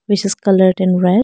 Which is coloured in red.